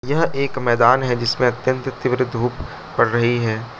यह एक मैदान है जिसमें अत्यंत तीव्र धूप पड़ रही है।